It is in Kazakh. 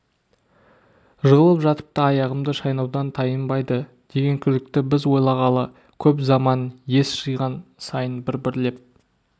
жығылып жатып та аяғымды шайнаудан тайынбайды деген күдікті біз ойлағалы көп заман ес жиған сайын бір-бірлеп